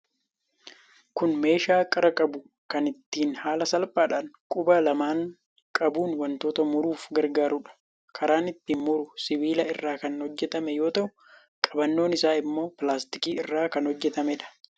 Kun meeshaa qara qabu kan ittiin haala salphaadhaan quba lamaan qabuun wantoota muruuf gargaaruudha. Karaan ittiin muru sibiila irraa kan hojjetame yoo ta'u, qabannoon isaa immoo pilaastikii irraa kan hojjetameedha.